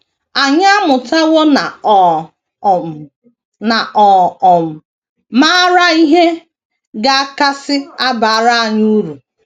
Anyị amụtawo na ọ um na ọ um maara ihe ga - akasị abara anyị uru.